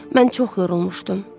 Mən çox yorulmuşdum.